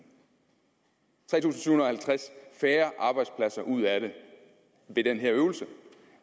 syv hundrede og halvtreds færre arbejdspladser ud af det ved den her øvelse